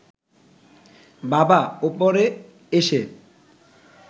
বাবা ওপরে এসে